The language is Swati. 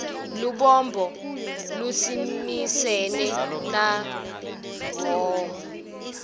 lubombo lusimisene na hhohho